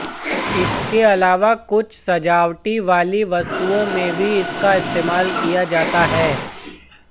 इसके अलावा कुछ सजावटी वाली वस्तुओं में भी इसका इस्तेमाल किया जाता है